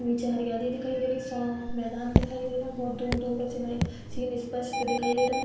नीचे हरियाली दिखाई दे रही। सांफ़ मैंदान दिखाई दे रहा। बोहोत दूर-दूर का सीन स्पष्ट दिखाई दे रहा है।